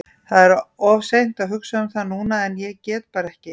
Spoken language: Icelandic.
Það er of seint að hugsa um það núna en ég get bara ekki.